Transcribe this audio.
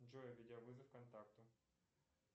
джой видеовызов контакту